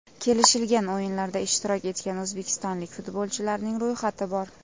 Kelishilgan o‘yinlarda ishtirok etgan o‘zbekistonlik futbolchilarning ro‘yxati bor!